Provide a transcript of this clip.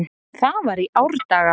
Það var í árdaga.